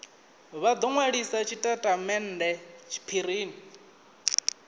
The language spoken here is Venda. vha do nwalisa tshitatamennde tshiphirini